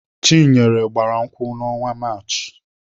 Chinenye gbara nkwụ n'ọnwa Maachị.